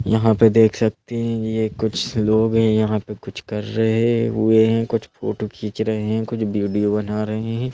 यहाँ पे देख सकते हैं ये कुछ लोग हैं यहाँ पे कुछ कर रहे हुए हैं कुछ फोटो खींच रहे हैं कुछ वीडियो बना रहे हैं।